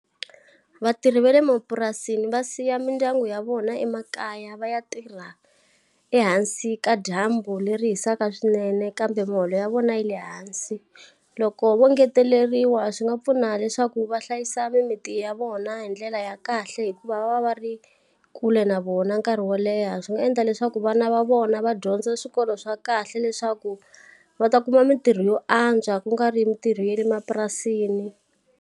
Vatirhi va le mapurasini va siya mindyangu ya vona emakaya va ya tirha ehansi ka dyambu leri hisaka swinene kambe muholo ya vona yi le hansi. Loko vo ngeteleriwa swi nga pfuna leswaku va hlayisa mimiti ya vona hi ndlela ya kahle hikuva va va va ri kule na vona nkarhi wo leha. Swi nga endla leswaku vana va vona va dyondza swikolo swa kahle leswaku va ta kuma mitirho yo antswa ku nga ri mitirho ya le mapurasini.